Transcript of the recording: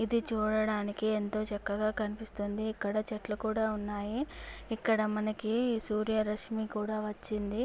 ఇది చూడడానికి ఎంతో చక్కగా కనిపిస్తుంది. ఇక్కడ చెట్లు ఉన్నాయి ఇక్కడ మనకి సూర్య రష్మీ కూడా వచ్చింది.